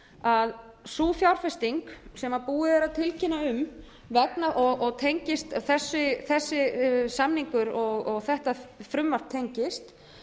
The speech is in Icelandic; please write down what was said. að sú fjárfesting sem búið er að tilkynna um og þessi samningur og þetta frumvarp tengist